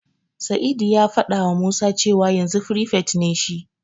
Sa'idu ya fadawa Musa cewa yanzu firifet ne shi.